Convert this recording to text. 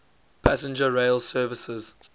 passenger rail services